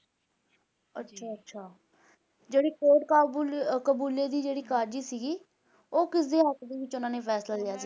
ਅੱਛਾ ਅੱਛਾ ਜਿਹੜੀ ਕੋਟ ਕਾਬੁਲ ਕਬੂਲੇ ਦੀ ਜਿਹੜੀ ਕਾਜ਼ੀ ਸੀਗੀ ਉਹ ਕਿਹਨਾਂ ਦੇ ਹੱਕ ਦੇ ਵਿਚ ਓਹਨਾ ਨੇ ਫੈਸਲਾ ਲਿਆ ਸੀ